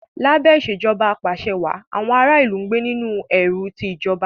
Lábé Ìṣèjọba Ap'àṣẹwàá, àwọn ará ìlú gbé nínú ẹ̀rù ti ìjọba